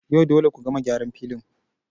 Yau dole ku gama gyaran filin